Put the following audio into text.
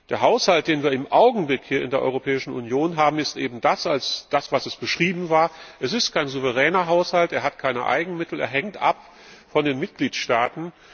Der Haushalt, den wir im Augenblick hier in der Europäischen Union haben, ist eben das, als was er beschrieben wurde Es ist kein souveräner Haushalt, er hat keine Eigenmittel, er hängt ab von den Mitgliedstaaten.